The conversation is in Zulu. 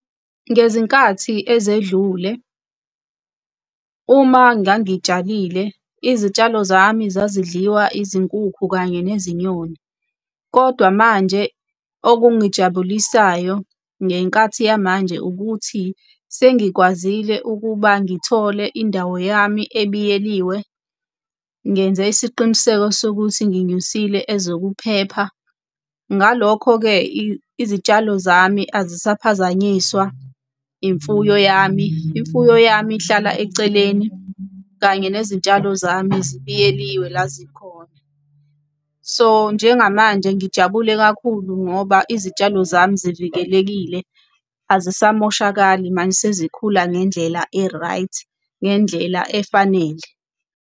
Ngezinkathi ezedlule uma ngangitshalile izitshalo zami zazidliwa izinkukhu kanye nezinyoni, kodwa manje okungijabulisayo, ngenkathi yamanje ukuthi, sengikwazile ukuba ngithole indawo yami ebiyeliwe. Ngenze isiqiniseko sokuthi nginyusile ezokuphepha. Ngalokho-ke izitshalo zami azisaphazanyiswa imfuyo yami, imfuyo yami ihlala eceleni kanye nezitshalo zami zibiyeliwe la zikhona. So, njengamanje ngijabule kakhulu ngoba izitshalo zami zivikelekile azisamoshakali, manje sezikhula ngendlela e-right, ngendlela efanele.